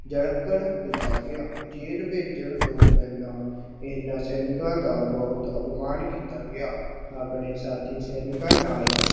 ਜਕੜ ਦਿੱਤਾ ਗਿਆ, ਜੇਲ ਭੇਜਣ ਤੋਂ ਪਹਿਲਾਂ ਇਹਨਾਂ ਸੈਨਿਕਾਂ ਦਾ ਬਹੁਤ ਅਪਮਾਨ ਕੀਤਾ ਗਿਆ, ਆਪਣੇ ਸਾਥੀ ਸੈਨਿਕਾਂ ਨਾਲ